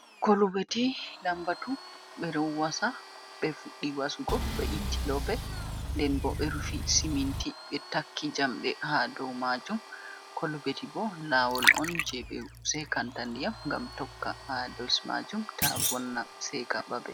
Kolubeti lambatu, ɓe ɗo wasa ɓe fuɗɗi wasugo, ɓe itti loope, nden bo ɓe rufi siminti ɓe takki jamɗe ha dow maajum. Kolubeti bo, laawol on je ɓe seekanta ndiyam gam tokka haa dos maajum ta vonna seeka babe.